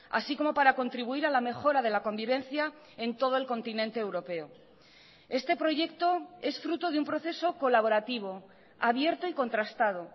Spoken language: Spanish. así como para contribuir a la mejora de la convivencia en todo el continente europeo este proyecto es fruto de un proceso colaborativo abierto y contrastado